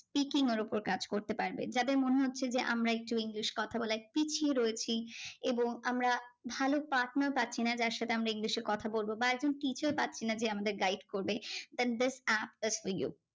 Teaching এর উপর কাজ করতে পারবে। যাদের মনে হচ্ছে যে আমরা একটু ইংলিশ কথা বলে পিছিয়ে রয়েছি এবং আমরা ভালো partner পাচ্ছিনা যার সাথে আমরা ইংলিশে কথা বলবো বা একটা teacher পাচ্ছিনা যে আমাদের guide করবে? then this app is for you.